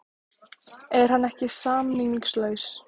Er hann ekki samningslaus?